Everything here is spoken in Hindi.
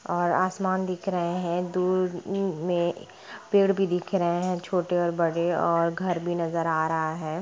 और आसमान दिख रहे है दूर में पेड़ भी दिख रहे है जो छोटे और बड़े और घर भी नजर आ रहा है।